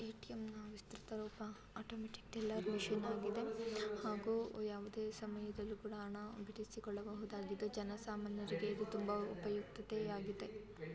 ATM ವಿಸ್ತ್ರೀತ ರೂಪ automatic ಕ್ದೆಲ್ಲ ಮಿಷನ್ ಆಗಿದೆ ಹಾಗೂ ಯಾವುದೇ ಸಮಯದಲ್ಲಿ ಕೂಡ ಹಣಾ ಬಿಡಿಸಕೊಳ್ಳಬಹುದಾಗಿದೆ ಜನ ಸಾಮಾನ್ಯರಿಗೆ ಇದು ತುಂಬಾ ಉಪಯುಕ್ತತೆ ಆಗಿದೆ .